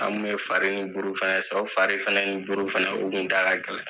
An tu bɛ wari ni buuru fana san, o fari fana ni buuru fana o tun da ka gɛlɛn.